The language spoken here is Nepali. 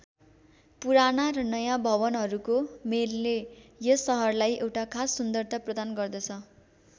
पुराना र नयाँ भवनहरूको मेलले यस सहरलाई एउटा खास सुन्दरता प्रदान गर्दछ।